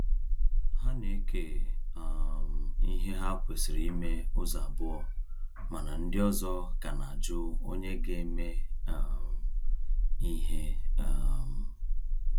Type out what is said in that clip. Ha na-eke um ihe ha kwesịrị ime ụzọ abụọ mana ndị ọzọ ka na ajụ onye ga-eme um ihe um